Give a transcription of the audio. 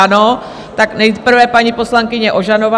Ano, tak nejprve paní poslankyně Ožanová.